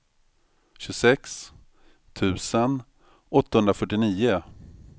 tjugosex tusen åttahundrafyrtionio